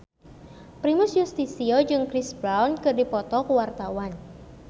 Primus Yustisio jeung Chris Brown keur dipoto ku wartawan